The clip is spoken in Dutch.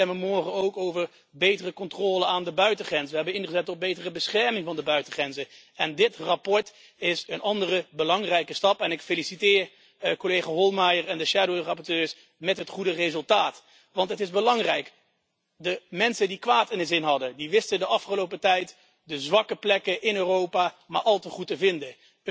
We stemmen morgen ook over betere controle aan de buitengrenzen. We hebben ingezet op betere bescherming van de buitengrenzen. Dit verslag is een andere belangrijke stap en ik feliciteer collega Hohlmeier en de schaduwrapporteurs met het goede resultaat, want het is belangrijk. De mensen die kwaad in de zin hadden wisten de afgelopen tijd de zwakke plekken in Europa maar al te goed te vinden.